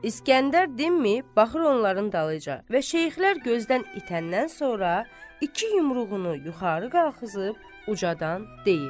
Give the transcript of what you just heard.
İsgəndər dinməyib baxır onların dalıyca və şeyxlər gözdən itəndən sonra iki yumruğunu yuxarı qalıxızıb ucadam deyir: